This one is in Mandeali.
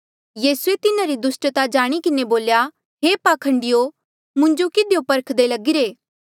यीसूए तिन्हारी दुस्टता जाणी किन्हें बोल्या हे पाखंडियो मुंजो किधियो परखदे लगिरे